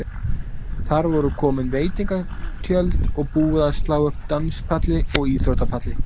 Þar voru komin veitingatjöld og búið að slá upp danspalli og íþróttapalli.